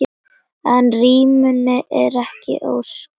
En rímunin er ekki óskyld.